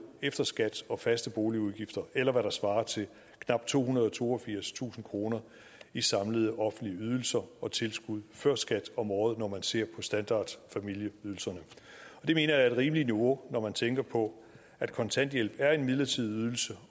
efter skat og faste boligudgifter eller hvad der svarer til knap tohundrede og toogfirstusind kroner i samlede offentlige ydelser og tilskud før skat om året når man ser på standardfamilieydelserne det mener jeg er et rimeligt niveau når man tænker på at kontanthjælp er en midlertidig ydelse